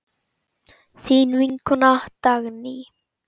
Þín vinkona Dagný.